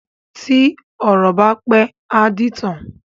Tí ọ̀rọ̀ bá pẹ́, á dìtàn.